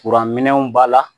Kuranminɛnw b'a la